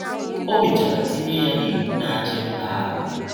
O mechara tinye ya n’Iwu na - achị mba ahụ.